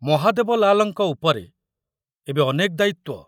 ମହାଦେବ ଲାଲଙ୍କ ଉପରେ ଏବେ ଅନେକ ଦାୟିତ୍ୱ।